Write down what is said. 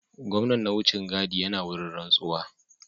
Gwamnan na wucin gadi yana wurin rantsuwa